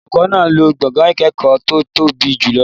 Olùkọ́ náà máa lo gbọ̀ngàn ìkẹ́kọ̀ọ́ tó tóbi jùlọ.